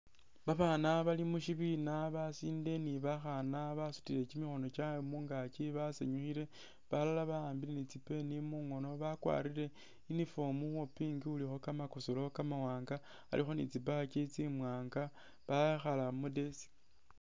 Babana bal mushibina basinde ni bakhana basutile kyiikhono kyawe mungakyi basanyukhile balala bahambile ni tsi'pen mungono bakwarile uniform wo pink ulikho kamakosolo kamawanga alikho ni tsi'badge tsimwanga bayikhala khu'desk